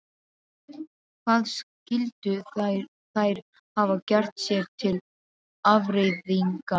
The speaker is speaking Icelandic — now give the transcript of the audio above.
Hvað skyldu þær hafa gert sér til afþreyingar?